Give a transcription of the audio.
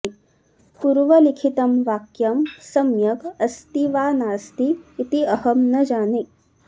पूर्व लिखितं वाक्यं सम्यग् अस्ति वा नास्ति इति अहं न जाने